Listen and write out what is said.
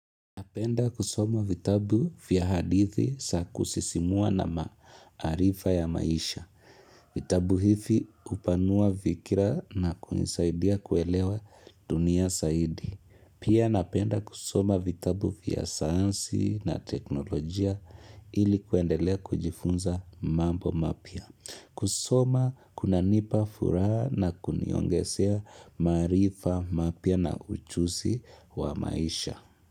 Napenda kusoma vitabu vya hadithi za kusisimua na maarifa ya maisha. Vitabu hivi hupanua fikira na kunisaidia kuelewa dunia zaidi. Pia napenda kusoma vitabu vya sayansi na teknolojia ili kuendelea kujifunza mambo mapya. Kusoma kunanipa furaha na kuniongezea maarifa mapya na ujuzi wa maisha.